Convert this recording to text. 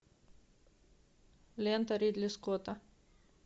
лента ридли скотта